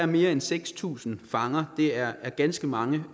mere end seks tusind fanger det er ganske mange